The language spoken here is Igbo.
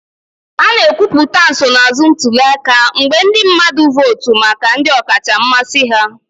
A na-ekwupụta nsonaazụ ntuli aka mgbe ndị mmadụ votu maka ndị ọkacha mmasị ha